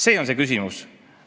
See on see küsimus.